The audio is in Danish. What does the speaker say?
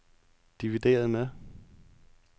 divideret med